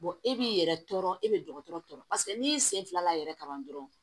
e b'i yɛrɛ tɔɔrɔ e bɛ dɔgɔtɔrɔ tɔɔrɔ paseke n'i sen fila yɛrɛ kaban dɔrɔn